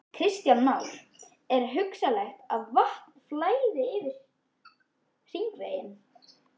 Kristján Már: Er hugsanlegt að vatn flæði yfir hringveginn?